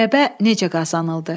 Qələbə necə qazanıldı?